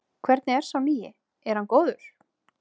Hvernig er sá nýi, er hann góður?